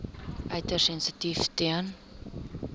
uiters sensitief ten